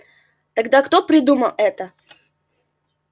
тогда кто придумал это